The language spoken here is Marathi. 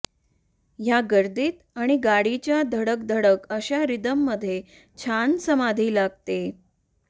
या गर्दीत आणि गाडीच्या धडक धडक अशा रिथममध्ये छान समाधी लागते